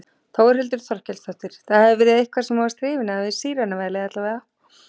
Þórhildur Þorkelsdóttir: Það hefur verið eitthvað sem þú varst hrifinn af við sírenuvælið alla vega?